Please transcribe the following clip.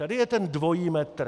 Tady je ten dvojí metr!